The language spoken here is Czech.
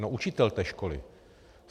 No učitel té školy!